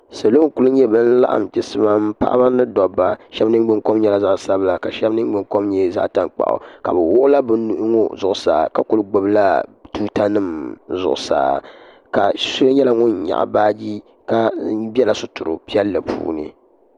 Salo n-kuli nyɛ ban laɣim chisimam paɣiba ni dobba shɛba ningbunkom nyɛla zaɣ'sabila ka shɛba ningbunkom nyɛ zaɣ'tankpaɣu ka bɛ wuɣila bɛ nuhi ŋɔ zuɣusaa ka kuli gbubila tuutanima zuɣusaa ka so nyɛla ŋun nyaɣi baaji ka bela sitiri piɛlli puuni.